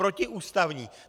Protiústavní!